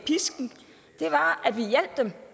dem